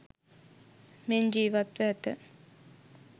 මෙන් ජීවත්ව ඇත.